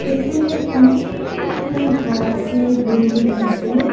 এখানে অনেকগুলা ঘর আসে বিল্ডিং আসে।